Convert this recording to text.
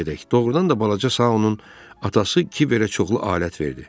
Doğrudan da balaca Saonun atası Kiberə çoxlu alət verdi.